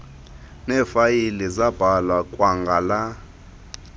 neefayile zibhalwa kwangala